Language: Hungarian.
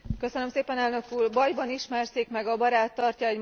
Bajban ismerszik meg a barát, tartja egy magyar mondás.